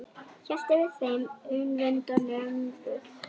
Hélt yfir þeim umvöndunarræður.